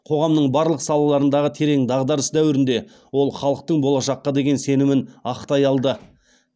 қоғамның барлық салаларындағы терең дағдарыс дәуірінде ол халықтың болашаққа деген сенімін ақтай алды